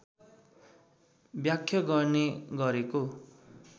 व्याख्या गर्ने गरेको